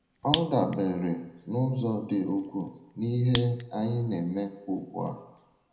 Ọ dabeere n’ụzọ dị ukwuu n’ihe anyị na - eme ugbu a.